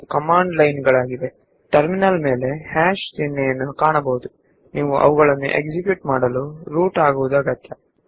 ನಿಮಗೆ ಟರ್ಮಿನಲ್ ಮೇಲೆ hash symbol ಕಾಣಿಸಿದರೆ ಆ ಕಮಾಂಡ್ ಗಳನ್ನು ಚಲಾಯಿಸಲು ನೀವು ರೂಟ್ ಯೂಸರ್ ಆಗಬೇಕಾಗುತ್ತದೆ